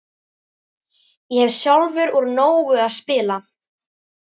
Ég hef sjálfur úr nógu að spila.